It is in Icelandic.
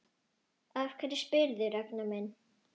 Af hverju spyrðu, Ragnar minn?